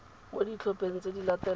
mo ditlhopheng tse di latelang